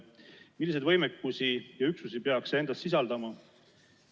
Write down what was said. Milliseid võimekusi ja üksusi peaks see endas sisaldama?